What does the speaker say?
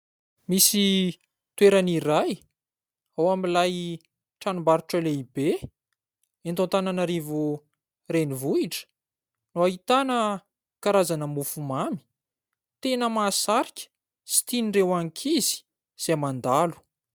Misy toerana iray ao amin'ilay tranombarotro lehibe eto Antananarivo renivohitra no ahitana karazana mofo mamy tena mahasarika sy tian'ireo ankizy izay mandalo.